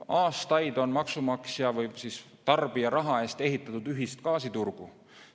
Aastaid on maksumaksja või siis tarbija raha eest ehitatud ühist gaasiturgu.